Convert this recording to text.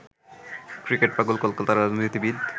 ক্রিকেটপাগল কলকাতা রাজনীতিবিদ